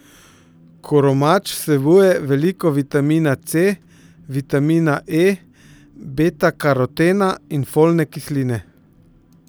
Koromač vsebuje veliko vitamina C, vitamina E, betakarotena in folne kisline.